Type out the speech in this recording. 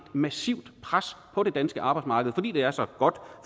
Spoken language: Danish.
massivt pres på det danske arbejdsmarked fordi det er så godt